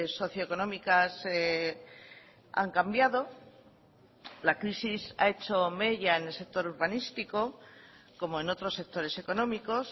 socioeconómicas han cambiado la crisis ha hecho mella en el sector urbanístico como en otros sectores económicos